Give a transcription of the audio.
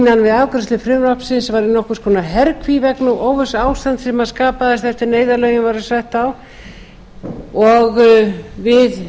við afgreiðslu frumvarpsins var í nokkurs konar herkví vegna óvissuástands sem skapaðist eftir að neyðarlögin voru sett á og við